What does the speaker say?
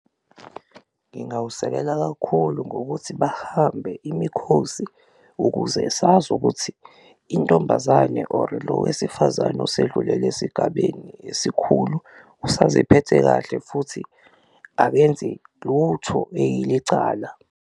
Ngingawusekela kakhulu ngokuthi bahambe imikhosi ukuze sazi ukuthi intombazane or lo wesifazane osedlulele esigabeni esikhulu usaziphethe kahle futhi akenzi lutho eyilicala.